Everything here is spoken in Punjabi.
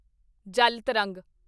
ਜਲ ਤਰੰਗ